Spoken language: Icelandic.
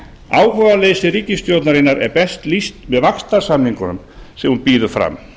áhugaleysi ríkisstjórnarinnar er best lýst með vaxtarsamningunum sem hún býður fram